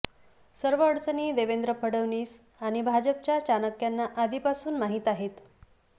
सर्व अडचणी देवेंद्र फडणवीस आणि भाजपच्या चाणक्यांना आधीपासून माहीत आहेत